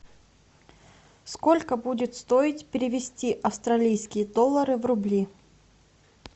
сколько будет стоить перевести австралийские доллары в рубли